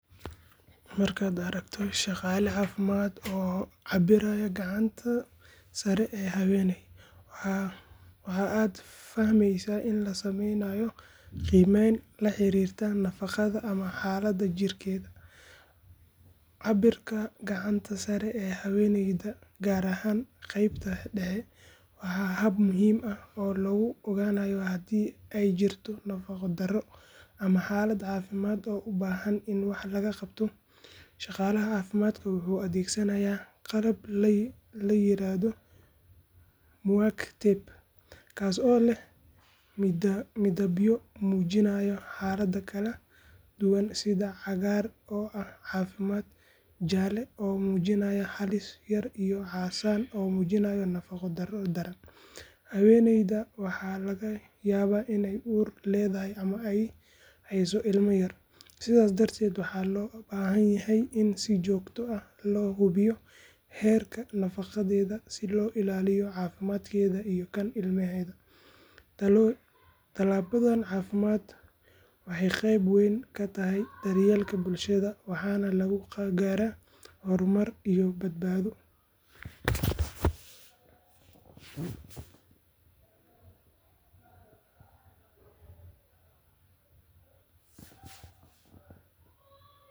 Markaad aragto shaqaale caafimaad oo cabbiraya gacanta sare ee haweeney, waxa aad fahmeysaa in la sameynayo qiimeyn la xiriirta nafaqada ama xaaladda jirkeeda. Cabbirka gacanta sare ee haweeneyda, gaar ahaan qeybta dhexe, waa hab muhiim ah oo lagu ogaanayo haddii ay jirto nafaqo-darro ama xaalad caafimaad oo u baahan in wax laga qabto. Shaqaalaha caafimaadka wuxuu adeegsanayaa qalab la yiraahdo MUAC tape, kaas oo leh midabyo muujinaya xaalado kala duwan sida cagaar oo ah caafimaad, jaalle oo muujinaya halis yar iyo casaan oo muujinaya nafaqo-darro daran. Haweeneyda waxaa laga yaabaa inay uur leedahay ama ay hayso ilma yar, sidaas darteed waxaa loo baahan yahay in si joogto ah loo hubiyo heerka nafaqadeeda si loo ilaaliyo caafimaadkeeda iyo kan ilmaheeda. Tallaabadan caafimaad waxay qeyb weyn ka tahay daryeelka bulshada waxaana lagu gaaraa horumar iyo badbaado.